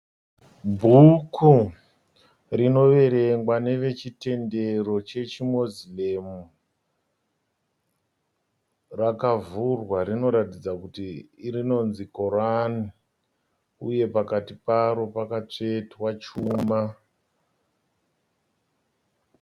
Bhuku rinoverengwa nevechitendero chechi Moslem rakavhurwa , rinoratidza kuti rinonzi Korani uye pakati paro pakatsvetwa chuma.